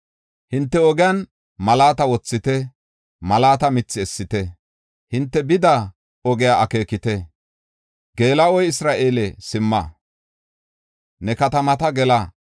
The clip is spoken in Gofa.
“Hinte ogiyan malaata wothite; malaata mithi essite; hinte bida ogiya akeekite. Geela7o Isra7eele, simma; ne katamata gela.